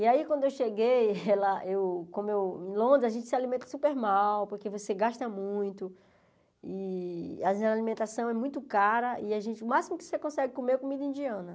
E aí quando eu cheguei, ela eu como eu em Londres a gente se alimenta super mal, porque você gasta muito, e a alimentação é muito cara, e o máximo que você consegue comer é comida indiana.